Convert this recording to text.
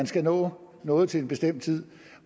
skal nå noget til en bestemt tid